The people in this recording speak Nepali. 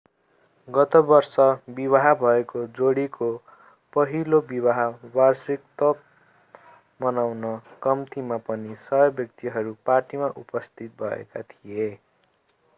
गत वर्ष विवाह भएको जोडीको पहिलो विवाह वार्षिकोत्सव मनाउन कम्तीमा पनि 100 व्यक्तिहरू पार्टीमा उपस्थित भएका थिए